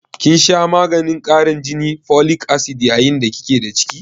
kin sha maganin karin jini (folic acid) yayin da ki ke da ciki?